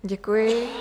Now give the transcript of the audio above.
Děkuji.